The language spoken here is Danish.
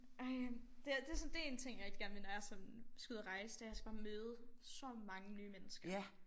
Ej det er det så dét en ting jeg rigtig gerne vil når jeg sådan skal ud og rejse det er jeg skal bare møde så mange nye mennesker